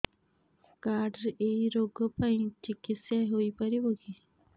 card ରେ ଏଇ ରୋଗ ପାଇଁ ଚିକିତ୍ସା ହେଇପାରିବ କି